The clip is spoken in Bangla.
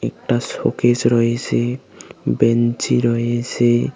একটা শোকেস রয়েসে বেঞ্চি রয়েসে।